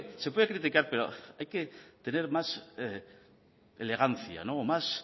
se puede criticar pero hay que tener más elegancia o más